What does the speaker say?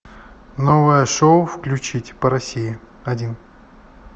новое шоу включить по россии один